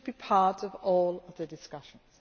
It should be part of all the discussions.